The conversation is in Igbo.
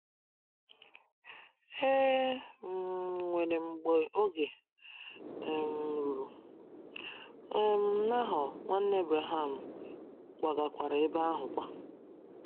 E um nwere mgbe oge um ruru, um Nahor, nwanne Abraham, kwagakwara ebe ahụ kwa.